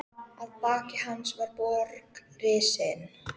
Ég hef einokað þig í allt kvöld.